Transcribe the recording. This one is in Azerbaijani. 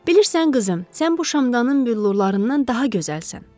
Bilirsən, qızım, sən bu şamdanın billurlarından daha gözəlsən.